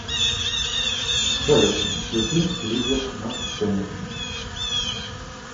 салют включи лизер на сцене